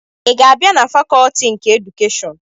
Ị ga-abịa na fakọtị nke edukeshọn?